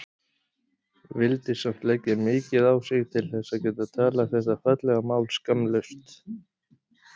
Vildi samt leggja mikið á sig til þess að geta talað þetta fallega mál skammlaust.